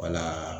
Wala